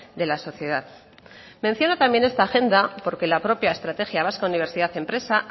de la sociedad menciona también esta agenda porque la propia estrategia vasca universidad empresa